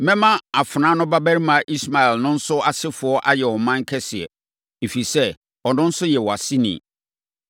Mɛma afenaa no babarima Ismael no nso asefoɔ ayɛ ɔman kɛseɛ, ɛfiri sɛ, ɔno nso yɛ wʼaseni.”